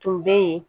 Tun bɛ yen